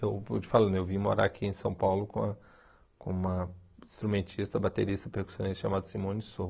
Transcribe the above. Eu vou te falando eu vim morar aqui em São Paulo com a com uma instrumentista, baterista e percussionista chamada Simone Sou.